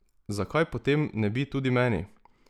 Zakaj potem ne bi tudi meni?